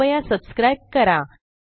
कृपया सबस्क्राईब करा